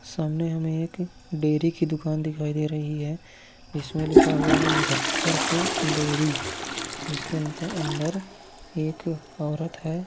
सामने हमें एक डेरी की दुकान दिखाई दे रही है जिसमें लिखा हुआ है मुजफ्फरपुर डेरी जिसके अंत अंदर एक औरत है |